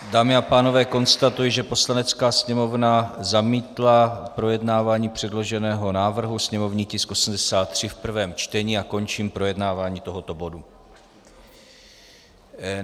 Dámy a pánové, konstatuji, že Poslanecká sněmovna zamítla projednávání předloženého návrhu, sněmovní tisk 83 v prvním čtení, a končím projednávání tohoto bodu.